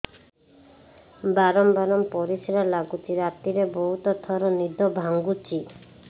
ବାରମ୍ବାର ପରିଶ୍ରା ଲାଗୁଚି ରାତିରେ ବହୁତ ଥର ନିଦ ଭାଙ୍ଗୁଛି